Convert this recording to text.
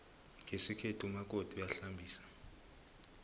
ngesikhethu umakoti uyahlambisa